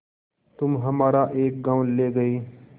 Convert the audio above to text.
तुम हमारा एक गॉँव ले गये